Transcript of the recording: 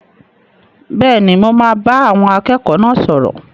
Bẹ́ẹ̀ni, mo máa bá àwọn akẹ́kọ̀ọ́ náà sọ̀rọ̀.